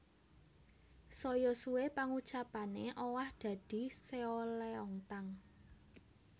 Saya suwe pangucapane owah dadi seolleongtang